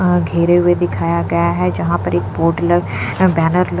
अं घेरे हुए दिखाया गया है जहाँ पर एक पोर्टलर बैनर --